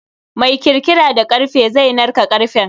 Mai kirkira da karfe zai narka karfen.